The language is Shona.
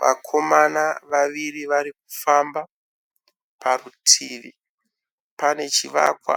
Vakaoma vaviri varikufamba. Parituvi pane chivakwa